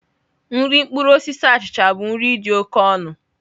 Nri mkpụrụ osisi achịcha bụ nri dị oke ọnụ.